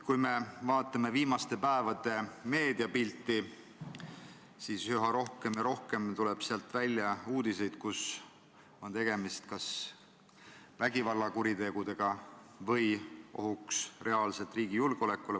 Kui me vaatame viimaste päevade meediapilti, siis näeme üha rohkem ja rohkem uudiseid, kus kajastatakse kas vägivallakuritegusid või reaalset ohtu riigi julgeolekule.